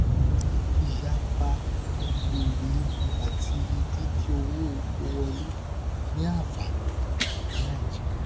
ìyapa èrè epo àti dídín owó epo wọlé ní ànfàní fún nàìjíríà